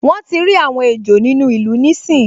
Wọ́n tíi rí àwọn ejò nínú ìlú níìsín